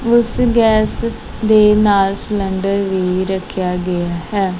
ਉਸ ਗੈਸ ਦੇ ਨਾਲ ਸਲਿੰਡਰ ਵੀ ਰੱਖਿਆ ਗਿਆ ਹੈ।